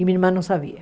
E minha irmã não sabia.